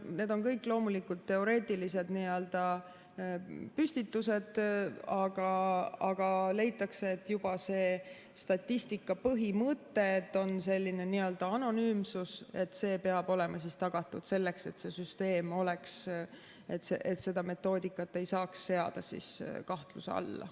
Need on kõik loomulikult teoreetilised püstitused, aga leitakse, et see statistika põhimõte, et on selline anonüümsus, peab olema tagatud selleks, et seda metoodikat ei saaks seada kahtluse alla.